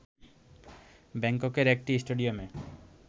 ব্যাংককের একটি স্টেডিয়ামে